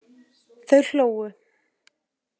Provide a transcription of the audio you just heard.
Þau hlógu.